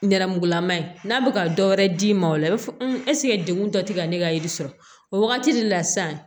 Nɛrɛmugulama ye n'a bɛ ka dɔ wɛrɛ d'i ma o la i b'a fɔ ɛseke dekun dɔ tɛ ka ne ka yiri sɔrɔ o wagati de la sisan